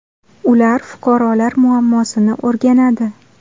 Ular fuqarolar muammosini o‘rganadi.